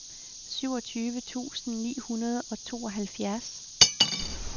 syvogtyve tusind ni hundrede og tooghalvfjerds